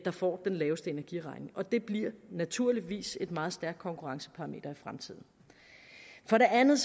får den laveste energiregning det bliver naturligvis et meget stærkt konkurrenceparameter i fremtiden for det andet